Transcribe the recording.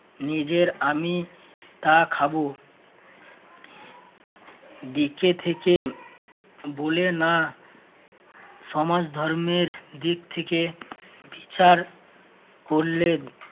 নিজের আমি তা খাবো, দিকে থেকে বুলে না সমাজ ধর্মের দিক থেকে বিচার করলেন